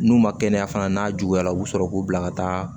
N'u ma kɛnɛya fana n'a juguyara u bɛ sɔrɔ k'u bila ka taa